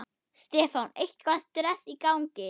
Stefán: Eitthvað stress í gangi?